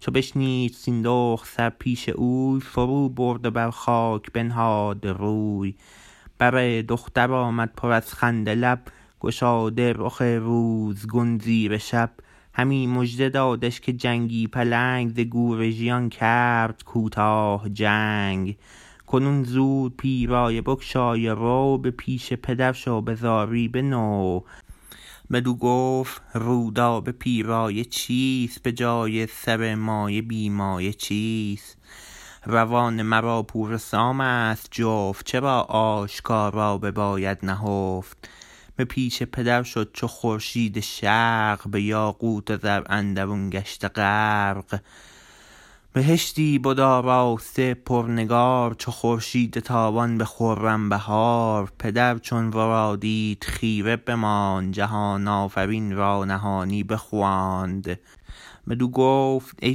چو بشنید سیندخت سر پیش اوی فرو برد و بر خاک بنهاد روی بر دختر آمد پر از خنده لب گشاده رخ روزگون زیر شب همی مژده دادش که جنگی پلنگ ز گور ژیان کرد کوتاه چنگ کنون زود پیرایه بگشای و رو به پیش پدر شو به زاری بنو بدو گفت رودابه پیرایه چیست به جای سر مایه بی مایه چیست روان مرا پور سامست جفت چرا آشکارا بباید نهفت به پیش پدر شد چو خورشید شرق به یاقوت و زر اندرون گشته غرق بهشتی بد آراسته پرنگار چو خورشید تابان به خرم بهار پدر چون ورا دید خیره بماند جهان آفرین را نهانی بخواند بدو گفت ای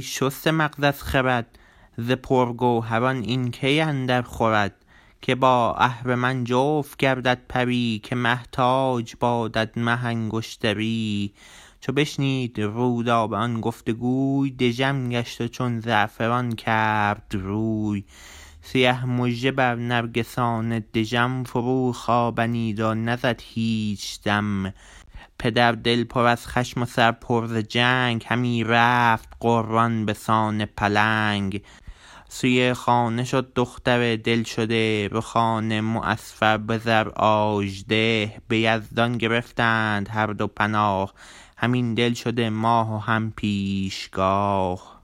شسته مغز از خرد ز پرگوهران این کی اندر خورد که با اهرمن جفت گردد پری که مه تاج بادت مه انگشتری چو بشنید رودابه آن گفت وگوی دژم گشت و چون زعفران کرد روی سیه مژه بر نرگسان دژم فرو خوابنید و نزد هیچ دم پدر دل پر از خشم و سر پر ز جنگ همی رفت غران بسان پلنگ سوی خانه شد دختر دل شده رخان معصفر بزر آژده به یزدان گرفتند هر دو پناه هم این دل شده ماه و هم پیشگاه